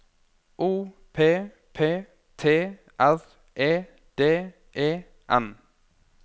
O P P T R E D E N